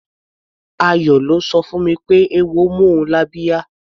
Ayọ̀ ló sọ fún mi pé eéwo mú ọ lábíá.